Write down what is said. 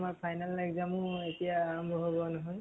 আমাৰ final exam ও এতিয়া আৰম্ভ হব নহয়।